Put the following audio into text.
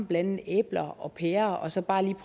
blande æbler og pærer og så bare lige